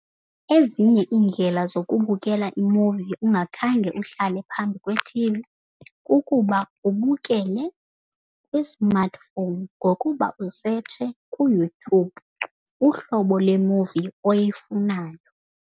Ezinye iindlela zokubukela imuvi ungakhange uhlale phambi kwethivi kukuba ubukele kwi-smartphone ngokuba usetshe kuYouTube uhlobo lemuvi oyifunayo.